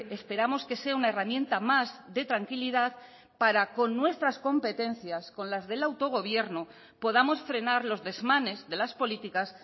esperamos que sea una herramienta más de tranquilidad para con nuestras competencias con las del autogobierno podamos frenar los desmanes de las políticas